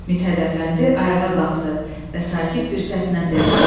Mithət Əfəndi ayağa qalxdı və sakit bir səslə dedi: